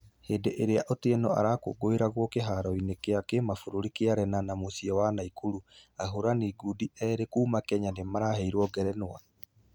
Hĩndĩ ĩrĩa otieno arakũngũiragwo kĩharo-inĩ gĩa kĩmabũrũri gĩa lenana mũciĩ wa naikuru. Ahũrani ngundi ĩrĩ kuuma kenya nĩmaraheirwo ngerenwa cia ........